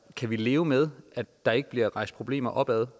kan vi leve med at der ikke bliver rejst problemer opad